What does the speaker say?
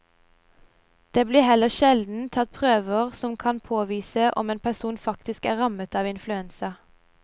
Det blir heller sjelden tatt prøver som kan påvise om en person faktisk er rammet av influensa.